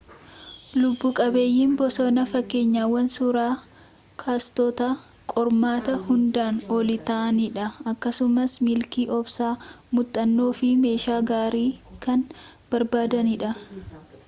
lubbu-qabeeyyiin bosonaa fakkeenyawwan suuraa kaastotatti qormaata hundaan olii ta'anidha akkasumas milkii obsa muuxannoo fi meeshaa gaarii kan barbaadanidha